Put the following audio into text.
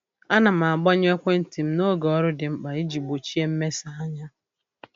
A na m agbanyụ ekwentị m n'oge ọrụ dị mkpa iji gbochie mmesa anya.